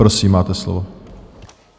Prosím, máte slovo.